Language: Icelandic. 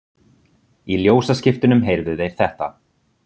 Í ljósaskiptunum heyrðu þeir þetta